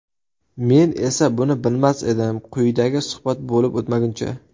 Men esa buni bilmas edim, quyidagi suhbat bo‘lib o‘tmaguncha.